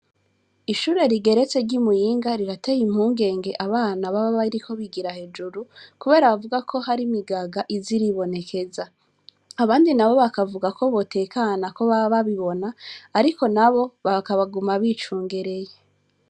Ishure rigeretse ry'imuyinga rirateye impungenge abana baba bariko bigira hejuru, kubera bavuga ko hari imigaga iza iribonekeza. Abandi nabo bakavuga ko botekana ko baba babibona, ariko nabo bakaba baguma bicungereye.